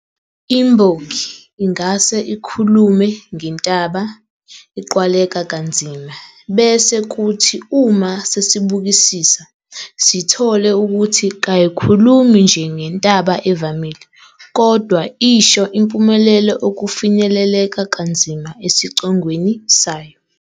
Imbongi ingase ikhulume ngentaba eqwaleka kanzima bese kuthi uma sesibukisisa sithole ukuthi kayikhulumi nje ngentaba evamile kodwa isho impumelelo okufinyeleleka kanzima esicongweni sayo.